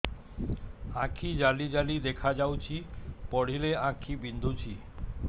ଆଖି ଜାଲି ଜାଲି ଦେଖାଯାଉଛି ପଢିଲେ ଆଖି ବିନ୍ଧୁଛି